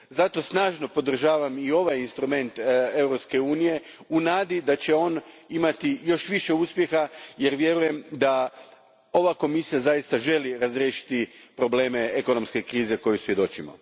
Zato snažno podržavam i ovaj instrument Europske unije u nadi da će on imati još više uspjeha jer vjerujem da ova Komisija zaista želi razriješiti probleme ekonomske krize kojoj svjedočimo.